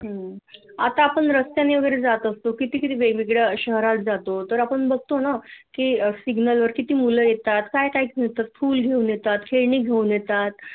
हूम आता आपण रस्त्याने वैगरे जात असतो किती तरी वेगवेगळ्या शहरात जातो तर आपण बघतो ना की सिग्नल वर किती मुलं येतात काय काय घेऊन येतात फुलं घेऊन येतात खेळणी घेऊन येतात